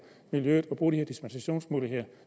miljøet at bruge de her dispensationsmuligheder